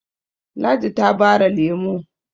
ladi ta bare lemo